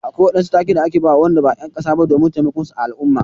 Akwai waɗansu take da ake bawa Wanda ba en kasa ba domin taimakon su a al'umma.